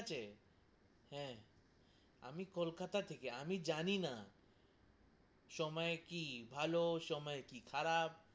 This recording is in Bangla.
ঠিক আছে, হ্যা! আমি কলকাতা থেকে, আমি জানি না সময় কি ভালো, সময় কি খারাপ,